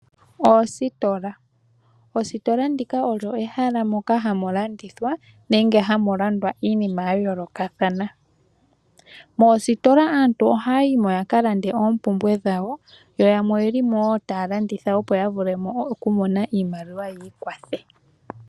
Oositola, ositola ndika olyo ehala moka hamu landithwa nenge hamu landwa iinima ya yoolokathana. Moositola aantu ohaya yimo yaka lande oompumbwe dhawo yo yamwe oye limo taya landitha opo ya vule okumona iimaliwa yi ikwathe.